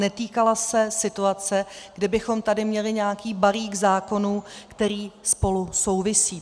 Netýkala se situace, kdy bychom tady měli nějaký balík zákonů, který spolu souvisí.